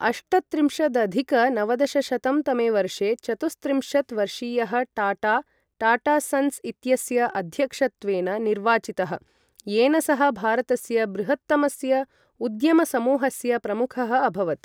अष्टत्रिंशदधिक नवदशशतं तमे वर्षे चतुस्त्रिंशत् वर्षीयः टाटा, टाटा सन्स् इत्यस्य अध्यक्षत्वेन निर्वाचितः, येन सः भारतस्य बृहत्तमस्य उद्यमसमूहस्य प्रमुखः अभवत्।